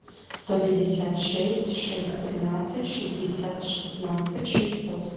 сто пятьдесят шесть шесть тринадцать шестьдесят шестнадцать шестьсот